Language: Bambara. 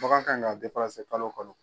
Bagan kan ka kalo o kalo.